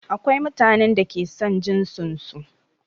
Akwai mutanen da ke son jinsin su